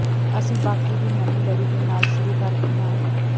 ਅਸੀਂ ਬਾਕੀ ਦੀ ਨਵੀਂ ਲੜੀ ਦੇ ਨਾਲ ਸ਼ੁਰੂ ਕਰਦੇ ਹਾਂ